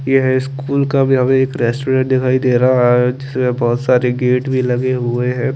यहाँ एक स्कूल का काव्या एक रेस्टोरेंट दिखाई दे रहा है जीके यहाँ बोहोत सारे गेट भी लगे हुए है।